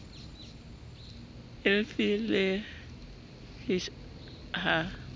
e f le g ha